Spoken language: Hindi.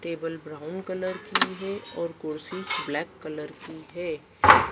टेबल ब्राउन कलर की है और कुर्सी ब्लैक कलर की है।